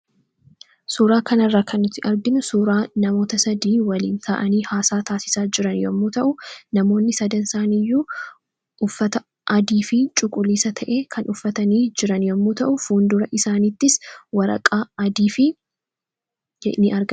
Suuraa kana irraa kan nuti arginu, suuraa namoota sadii waliin taa'anii haasaa taasisaa jiran yemmuu ta'an, namoonni sadan isaanii iyyuu uffata adii fi cuquliisa ta'e kan uffatanii jiran yemmuu ta'u fuuldura isaaniittis waraqaa adii ta'e ni argama.